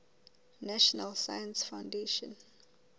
national science foundation